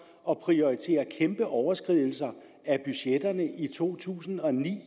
at prioritere kæmpe overskridelser af budgetterne i to tusind og ni